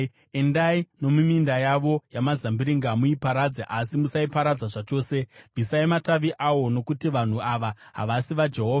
“Endai nomuminda yavo yamazambiringa muiparadze, asi musaiparadza zvachose. Bvisai matavi awo, nokuti vanhu ava havasi vaJehovha.